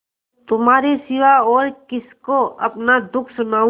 तुम्हारे सिवा और किसको अपना दुःख सुनाऊँ